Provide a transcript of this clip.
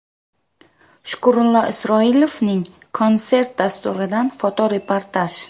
Shukrullo Isroilovning konsert dasturidan fotoreportaj.